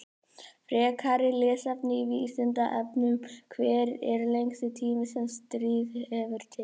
Frekara lesefni á Vísindavefnum: Hver er lengsti tími sem stríð hefur tekið?